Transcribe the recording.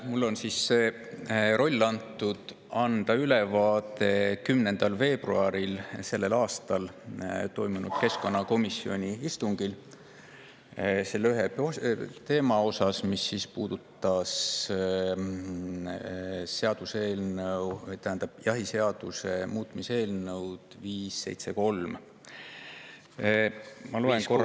Mulle on siis antud see roll, et anda ülevaade 10. veebruaril sellel aastal toimunud keskkonnakomisjoni istungi selle ühe teema, mis puudutas jahiseaduse muutmise eelnõu 573.